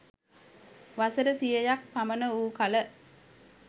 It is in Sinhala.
වසර සියයක් පමණ වූ කළ